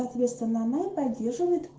соответственно она и поддерживает